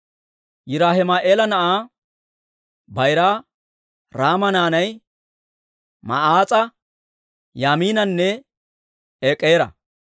Yiraahima'eela na'aa bayraa Raama naanay Ma'aas'a, Yaamiinanne Ek'eera.